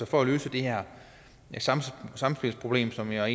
for at løse det her samspilsproblem som jeg